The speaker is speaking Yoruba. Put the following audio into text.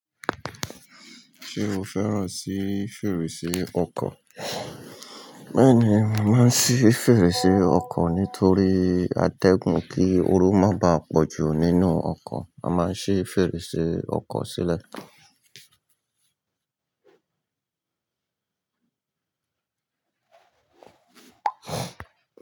Ṣé o fẹ́ràn sí fèrèsé ọkọ̀? Bẹ́ẹ̀ni, mo maà n ṣi fèrèsé ọkọ̀ nítorí a tẹ́gun kí ooru má bá pọ̀jù nínú ọkọ̀, a má ṣi fèrèsé ọkọ̀ sílẹ̀.